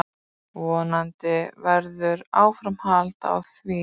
Vonandi verður áframhald á því.